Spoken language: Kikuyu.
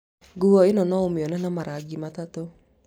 Nguo ĩno no ũmĩone na marangi matatũ